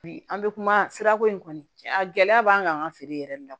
Bi an bɛ kuma sirako in kan gɛlɛya b'an kan an ka feere yɛrɛ de la